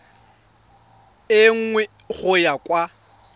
e nngwe go ya kwa